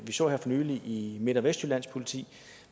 så her for nylig i midt og vestjyllands politi